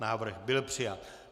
Návrh byl přijat.